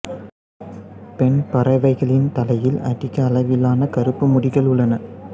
பெண் பறவைகளின் தலையில் அதிக அளவிலான கறுப்பு முடிகள் உள்ளன